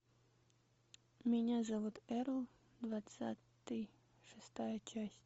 меня зовут эрл двадцатый шестая часть